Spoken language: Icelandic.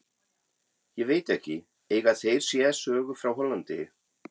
Ég veit ekki, eiga þeir sér sögu frá Hollandi?